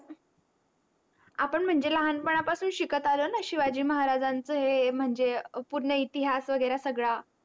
आपण म्हणजे लहान पना पासून शिकत आलोय ना शिवाजी महाराजाचा हे म्हणजे अं पूर्ण इतिहास वागेरे सगडा